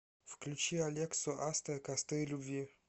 включи алексу астер костры любви